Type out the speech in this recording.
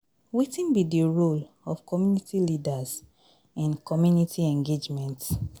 Wetin be di role of community leaders in community engagement?